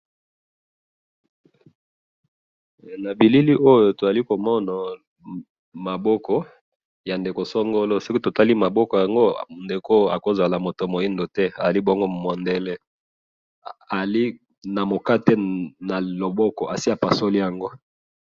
na bilili oyo tozali komona maboko ya ndeko songolo soki totali maboko yango ndeko oyoakoki kozala mutu ya mwindu te akoki kozala mundele azali na mukate n maboko esi apasoli yango.